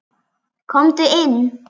Komdu inn!